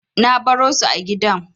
Na baro su a gidan.